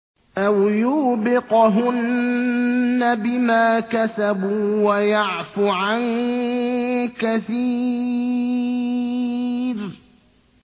أَوْ يُوبِقْهُنَّ بِمَا كَسَبُوا وَيَعْفُ عَن كَثِيرٍ